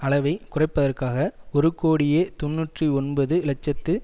அளவை குறைப்பதற்காக ஒரு கோடியே தொன்னூற்றி ஒன்பது இலட்சத்து